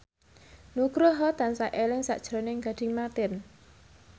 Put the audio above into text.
Nugroho tansah eling sakjroning Gading Marten